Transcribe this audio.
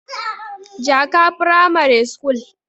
jaka pramare school